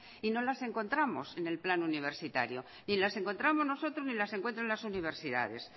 y no las encontramos en el plan universitario ni las encontramos nosotros ni las encuentra las universidades